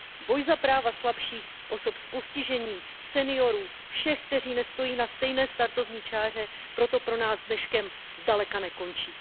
Boj za práva slabších, osob s postižením, seniorů, všech, kteří nestojí na stejné startovní čáře, proto pro nás dneškem zdaleka nekončí.